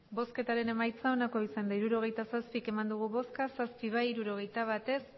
hirurogeita zazpi eman dugu bozka zazpi bai hirurogeita bat ez